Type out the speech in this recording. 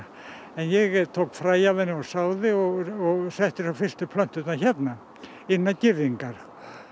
en ég tók fræ af henni og sáði og og setti niður fyrstu plönturnar hérna innan girðingar